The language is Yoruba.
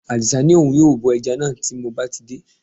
Àdì̀sá ní òun yóò bọ ẹja náà tí mo bá ti dé